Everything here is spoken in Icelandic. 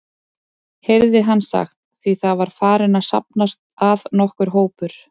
heyrði hann sagt, því það var farinn að safnast að nokkur hópur.